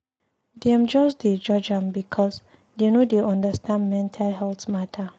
Dem just dey judge am because dey no dey understand mental health mata.